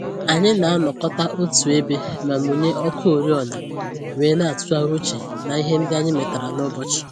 Anyị na-anọkọta otu ebe ma mụnye ọkụ oriọna wee na-atụgharị uche na ihe ndị anyị metara n'ụbọchị